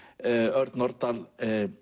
Örn Norðdahl